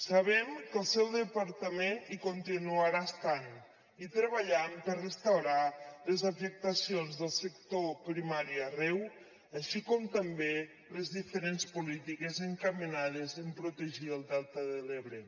sabem que el seu departament hi continuarà estant i treballant per restaurar les afectacions del sector primari arreu així com també les diferents polítiques encaminades en protegir el delta de l’ebre